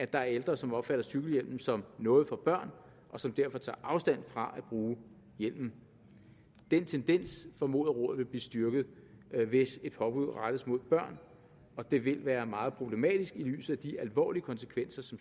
der er ældre som opfatter cykelhjelmen som noget for børn og som derfor tager afstand fra at bruge hjelmen den tendens formoder rådet vil blive styrket hvis et påbud rettes mod børn og det vil være meget problematisk i lyset af de alvorlige konsekvenser